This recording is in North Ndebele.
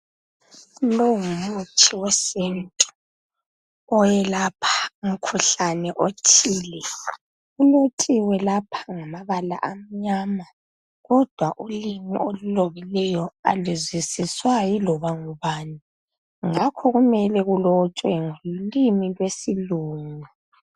longumuthi wesintu oyelapha umukhuhlane othile kulotshiwe lapha ngamabala amnyama kodwa ulimi olulobileyo aluzwisiswa yiloba ngubani ngakho kumele kulotshwe ngolimi lwesilungu